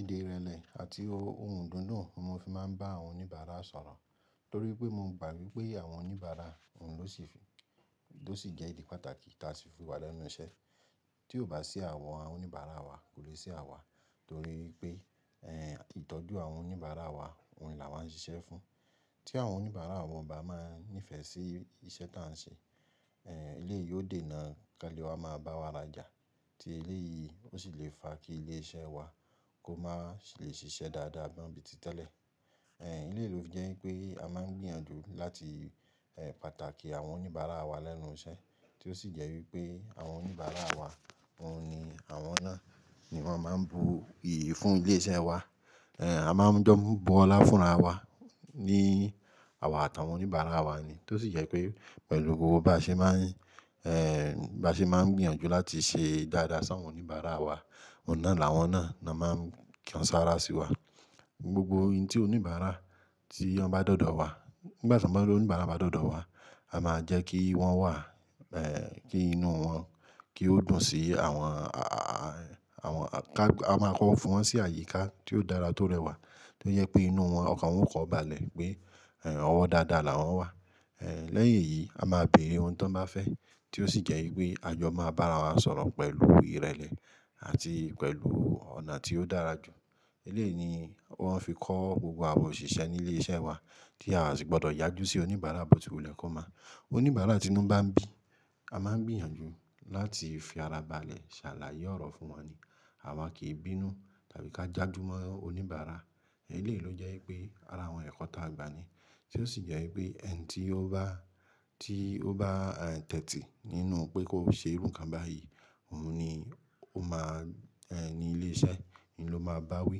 Èdè ìrẹlẹ àti ohùn dundun ni mo fi máa ń bá àwọn oníbàárà sọ̀rọ̀ torí pé mo gbà wipé àwọn oníbàárà òun ló sì fi ló sì jẹ́ ìdí pàtàkì tí a fi si fiwà lẹ́nu iṣẹ́. Tí ò bá sí àwọn oníbàárà wa kò lè sí àwa torí pé, ẹ́ ìtọ́jú àwọn oníbàárà wa òun ni a máa ń ṣiṣẹ́ fún. Tí àwọn oníbàárà wọn bá máa ń nífẹ̀ẹ́ sí ìṣe tí à ń ṣe, ẹ́ eleyìí ó dè náà kanle wá máa bá wa ra'jà. Tí eléyìí ó sì le fa kí ilé iṣẹ́ wa kó má sì lè ṣiṣẹ́ dáadáa mo bíi ti tẹ́lẹ̀. Ẹ̀m eleyii ló fi je ipé a máa ń gbìyànjú láti ẹ́ pàtàkì àwọn oníbàárà wa lẹ́nu iṣẹ́, tí ó sì jẹ́ wípé àwọn oníbàárà wa òun ni àwọn náà ni wọ́n máa ń bu iyì fún ilé iṣẹ́ wa. Ẹ̀ a máa ń jọ ń bọ ọlá fúnra wa ní àwa àtàwọn oníbàárà wa ni. Tó sì jẹ́ pé pẹ̀lú gbogbo bá ṣe máa ń ẹ́ bá ṣe máa ń gbìyànjú láti ṣe dáadáa sí àwọn oníbàárà wa, òun náà làwọn náà ni a máa ń kan sára sí wa. Gbogbo ohun tí oníbàárà tí wọn bá dọ́dọ̀ wá, nígbàtí tí oníbàárà bá dọ́dọ̀ wá, a máa jẹ́ kí wọ́n wà ẹ́ kí inú wọn kí ó dùn sí àwọn a a àwọn ká a máa kọ fún wọn sí àyíká tí ó dára tó rẹwà tí ó jẹ́ pé inú wọn ọkàn wọn o ko ba lẹ̀ pé ọ̀wọ̀ dáadáa làwọn wà. Ẹ̀ lẹ́yìn èyí a máa bèrè ohun tó máa fẹ́ tí ó sì jẹ́ wípé a jọ máa bá ara wa sọ̀rọ̀ pẹ̀lú ìrẹlẹ àti pẹ̀lú ọ̀nà tí ó dára jù. Eléyìí ni wọ́n fi kọ́ gbogbo àwọn òṣìṣẹ́ nílé iṣẹ́ wa tí a sì gbọdọ̀ yájú sí oníbàárà bó ti wù lẹ́kọ̀ọ́ mp Oníbàárà tí inú bá ń bí a máa ń gbìyànjú láti fi ara ba lẹ̀ ṣàlàyé ọ̀rọ̀ fún wọn ni. Àwa kì í bínú tàbí ká jájú mọ́ oníbàárà. Eléyìí ló jẹ́ wípé ara àwọn ẹ̀kọ́ ta gba ni. Tí ó sì jẹ́ wípé ẹni tí ó bá tí ó bá tẹ̀tì nínú pé kó ṣe irú kan bá yìí òun ni ó máa ẹ́ ní ilé iṣẹ́ ni ló máa bá wí.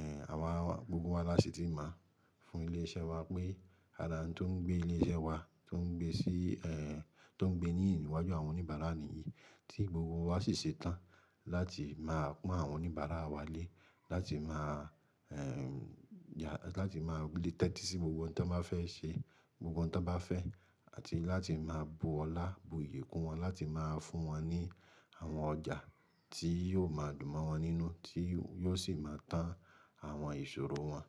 Ẹ̀n àwa gbogbo wa lási tí mo fún ilé iṣẹ́ wa pé ara oun tó ń gbé ilé iṣẹ́ wa tó ń gbé sí ẹ́ tó ń gbé ní iyi ìníwájú àwọn oníbàárà ni yìí tí gbogbo wa sì ṣetán láti máa kó àwọn oníbàárà wa lé láti máa ẹ́ yá láti máa lè tẹ́tí sí gbogbo ohun tó máa fẹ́ ṣe, gbogbo ohun tó bá fẹ́ àti láti máa bu ọlá bu iyì kó wọn láti máa fún wọn ní àwọn ọjà tí yóò máa dùn mọ́ wọn nínú tí yóò sì máa tán àwọn ìṣòro wọn.